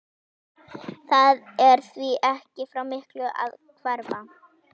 Það er því ekki frá miklu að hverfa.